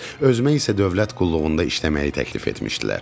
Özümə isə dövlət qulluğunda işləməyi təklif etmişdilər.